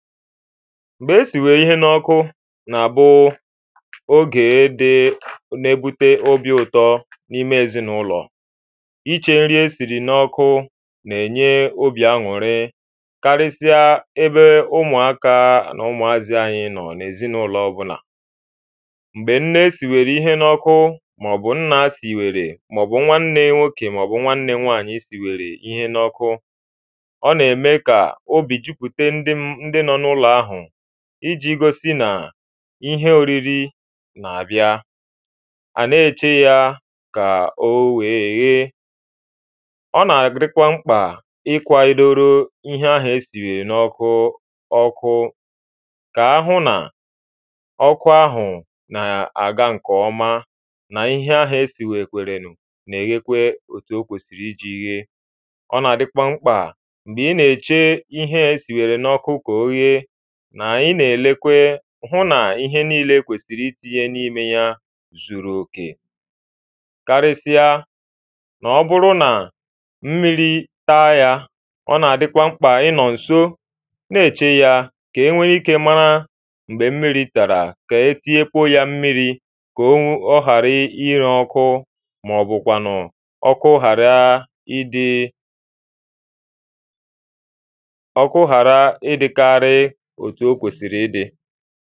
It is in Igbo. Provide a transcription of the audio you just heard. M̀gbè e sìwèrè ihẹ n’ọkụ nà-abụ oge dị nà-ebute obī ụtọ n’ime èzinụlọ iche ǹri e siri n’ọkụ na-enye obī anwụrị karịasịa ẹbẹ ụmụ̀aka nà ụmụ̀azị ànyị nọ̀ n’ezinụ̀lọ̀ ọ̀bụlà. M̀gbè ǹne sìwèrè ihẹ n’ọkụ màọ̀bʊ̀ ǹna sìwèrè màọ̀bụ̀ nwàǹnè nwokè màọ̀bụ̀ nwàǹnè nwaanyị sìwèrè ihe n’ọkụ ɔ nà-èmekà obī jupute ǹdɪ nọ n’ụlọ̀ ahụ̀ iji gosi nàà ihẹ oriri nà-àbịa à nà-eche ya kà o wèè ghèè ọ nà-adịkwa m̀kpa ịkwaịdoro ihẹ ahụ̀ e sìnyèrè n’ọkụ ọkụ kà ahụ̀ nà ọkụ ahụ̀ nà-àga ǹkè ọma nà ihẹ ahụ̀ e sìwèkwèrè nà-èghekwe òtù o kwè iji ghee ọ nà-àdịkwa m̀kpa nà ị nà-èche ihẹ e sinyèrè n’ọkụ kà o ghee nà ị nà-elekwe hụ nà ihẹ niile e kwesìrì itinyè n’ime ya zùrù òkè karịsa nà ọ bụrụ nà m̀miri taa ya ọ nà-adịkwa m̀kpa ịnọ̄ ǹso nà-eche ya kà enwe ike mara m̀gbè m̀miri tara kà e tinyekwuo ya m̀miri kà ọ ghara ire ọkụ màọ̀bụ̀kwànụ̀ ọkụ ghàra ịdị ọkụ ghàra ịdịkarị òtù ò kwèsìrì ịdị